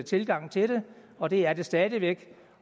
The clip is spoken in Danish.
tilgang til det og det er det stadig væk